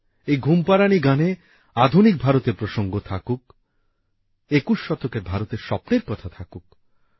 এই ঘুমপাড়ানি গানে আধুনিক ভারতের প্রসঙ্গ থাকুক একুশ শতকের ভারতের স্বপ্নের কথা থাকুক